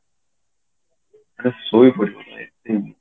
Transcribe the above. ମାନେ ଶୋଇ ପଡିଥିଲି